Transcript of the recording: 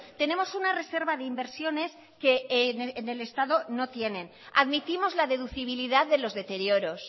tenemos una reserva de inversiones que en el estado no tienen admitimos la deducibilidad de los deterioros